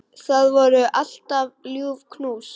Það voru alltaf ljúf knús.